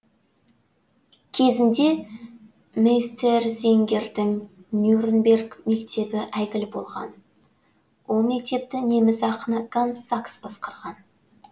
кезінде мейстерзингердің нюрнберг мектебі әйгілі болған ол мектепті неміс ақыны ганс сакс басқарған